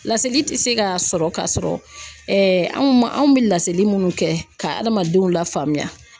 Laseli tɛ se k'a sɔrɔ ka sɔrɔ anw ma anw bɛ laseli munnu kɛ ka hadamadenw lafaamuya.